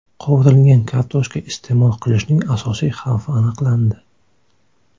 Qovurilgan kartoshka iste’mol qilishning asosiy xavfi aniqlandi.